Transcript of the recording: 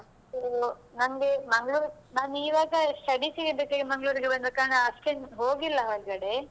ನನ್ಗೆ ಮಂಗ್ಳೂರ್ ನಾನು ಇವಾಗ studies ಗೆ ಬೇಕಾಗಿ ಮಂಗ್ಳೂರಿಗೆ ಬಂದ ಕಾರಣ ಅಷ್ಟೇನೂ ಹೋಗಿಲ್ಲ ಹೊರ್ಗಡೆ.